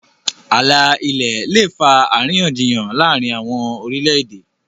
ààlà ilẹ lẹ fa àríyànjiyàn láàrin àwọn orilẹ-ède.